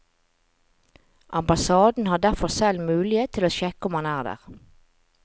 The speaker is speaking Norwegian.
Ambassaden har derfor selv mulighet til å sjekke om han er der.